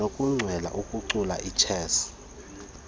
nokuchwela ukucula ichess